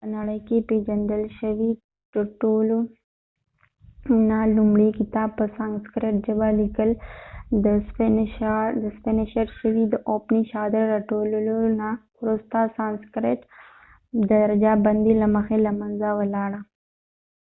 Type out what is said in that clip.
په نړی کې پیژندل شوي د ټولو نه لومړۍ کتاب په سانسکریټ ژبه لیکل شوي ،د اوپنی شاد upanishads د راټولولو نه وروسته سانسکریټ د درجه بندي له مخی له منځه ولاړه